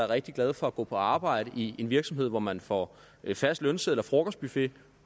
rigtig glade for at gå på arbejde i en virksomhed hvor man får fast lønseddel og frokostbuffet